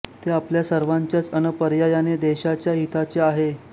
ते आपल्या सर्वाच्याच अन पर्यायाने देशाच्या हिताचे आहे